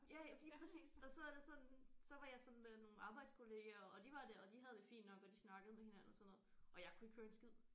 Ja ja lige præcis og så er det sådan så var sådan med nogle arbejdskollegaer og de var det de havde det fint nok og de snakkede med hinanden og sådan noget og jeg kunne ikke høre en skid